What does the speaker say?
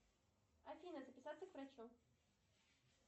афина записаться к врачу